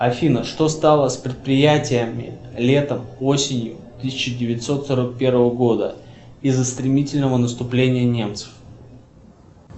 афина что стало с предприятиями летом осенью тысяча девятьсот сорок первого года из за стремительного наступления немцев